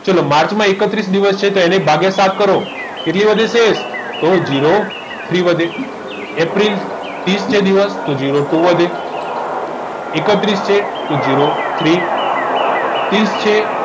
ચલો તો માર્ચમાં એકત્રીસ દિવસ છે તો તેને ભાગ્યા સાત કરો કેટલી વધે છે તો zero three વધે એપ્રિલ ત્રીસ દિવસ તો zero two વધે એકત્રીસ છે તો zero three ત્રીસ છે